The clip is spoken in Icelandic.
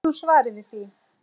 Veist þú svarið við því?